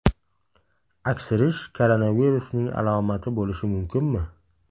Aksirish koronavirusning alomati bo‘lishi mumkinmi?